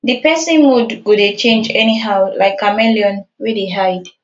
di pesin mood go dey change anyhow like chameleon wey dey hide